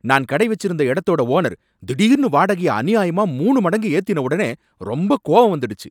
நான் கடை வச்சிருந்த எடத்தோட ஓனர் திடிர்னு வாடகைய அநியாயமா மூணு மடங்கு ஏத்தின ஒடனே ரொம்ப கோவம் வந்துடுச்சு.